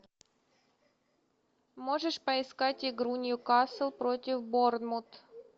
можешь поискать игру ньюкасл против бормунд